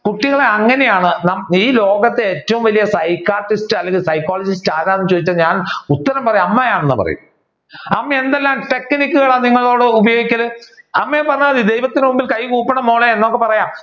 കുട്ടികളെ അങ്ങനെയാണ് ഈ ലോകത്തെ ഏറ്റവും വലിയ Psychiatrist അല്ലെങ്കിൽ Psychologist ആരാണെന്നു ചോദിച്ചാൽ ഞാൻ ഉത്തരം പറയും അമ്മ ആണെന്ന് പറയും. അമ്മ എന്തെല്ലാം technique കളാണ് നിങ്ങളോട് ഉപയോഗിക്കുക അമ്മയെ പറഞ്ഞാമതി ദൈവത്തിന്റെ മുൻപിൽ കൈകൂപ്പണം മോളെ എന്നൊക്കെ പറയാം